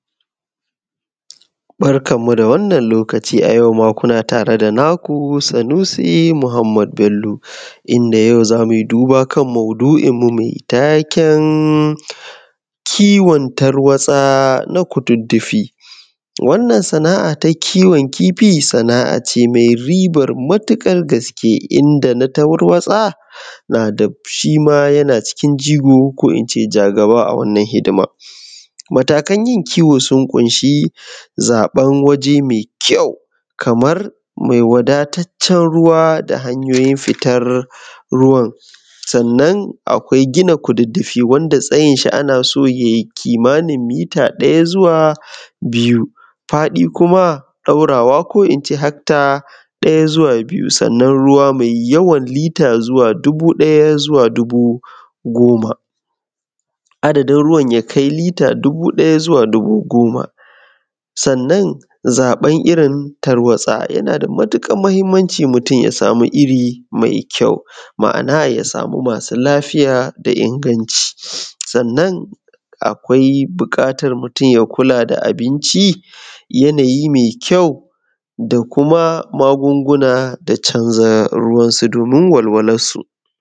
Barkanmu da wannan lokaci. A yau ma, kuna tare da naku, Sanusi Muhammad Bello, inda yau za mu yi duba kan maudu’inmu mai taken Kiwon Tarwatsa na kududdufi. Wannan sana’a ta kiwon kifi, sana’a ce mai riban matuƙar gaske. Inda na tarwatsa na da shi ma yana cikin jigo, ko in ce jagaba, a wannan hidindimu. Matakan yin kiwo sun ƙunshi: Zaɓan waje mai ƙyau kamar wanda ya wadata da ruwa, da hanoyin fitan ruwan. Gina kududdufi wanda tsayinshi ana son ya yi kimanin mita ɗaya zuwa biyu, faɗi kuma ɗaurawa ko in ce hekta ɗaya zuwa biyu. Ruwa mai yawan lita zuwa dubu ɗaya zuwa dubu goma. Adadin ruwan ya kai zuwa dubu ɗaya zuwa dubu goma. Sannan zaɓan irin Tarwatsa yana da matuƙar mahimnci. Mutum ya samu iri mai ƙyau, ma’ana ya samu masu lafiya da ingantacci. Kula da abinci, yanayin mai kyau, da kuma magunguna, da canza ruwansu domin walwalansu.